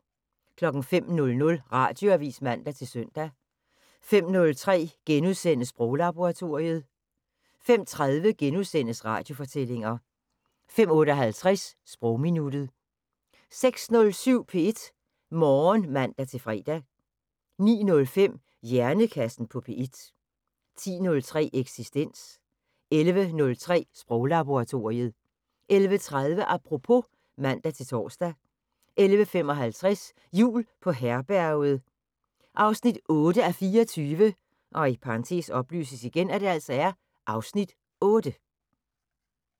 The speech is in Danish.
05:00: Radioavis (man-søn) 05:03: Sproglaboratoriet * 05:30: Radiofortællinger * 05:58: Sprogminuttet 06:07: P1 Morgen (man-fre) 09:05: Hjernekassen på P1 10:03: Eksistens 11:03: Sproglaboratoriet 11:30: Apropos (man-tor) 11:55: Jul på Herberget 8:24 (Afs. 8)